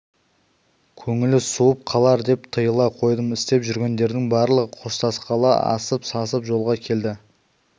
көңілі суып қалар деп тыйыла қойдым істеп жүргендердің барлығы қоштасқалы асып-сасып жолға келді